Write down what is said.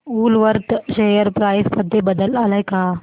Woolworth share price मध्ये बदल आलाय का